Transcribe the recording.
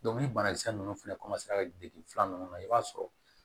ni banakisɛ ninnu fɛnɛ filanan ninnu na i b'a sɔrɔ